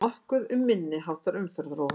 Nokkuð um minniháttar umferðaróhöpp